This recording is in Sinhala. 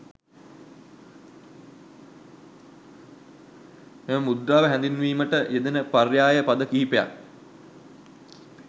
මෙම මුද්‍රාව හැඳින්වීමට යෙදෙන පර්යාය පද කීපයක්